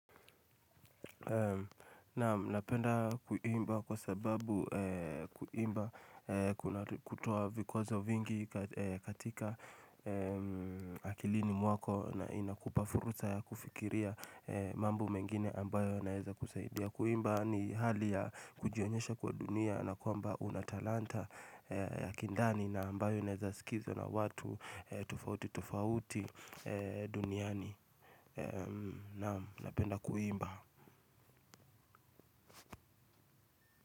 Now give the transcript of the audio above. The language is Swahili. Na napenda kuimba kwa sababu kuimba kutuwa vikwazo vingi katika akilini mwako na inakupa fursa ya kufikiria mambo mengine ambayo naeza kusaidia. Kuimba ni hali ya kujionyesha kwa dunia na kwamba unatalanta ya kindani na ambayo inaweza sikika na watu tofauti tofauti duniani. Na napenda kuimba.